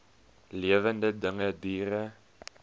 lewende dinge diere